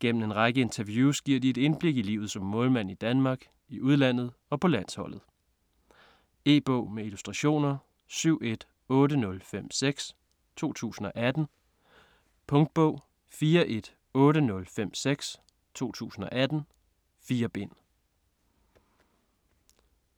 Gennem en række interviews giver de et indblik i livet som målmand i Danmark, i udlandet og på landsholdet. E-bog med illustrationer 718056 2018. Punktbog 418056 2018. 4 bind.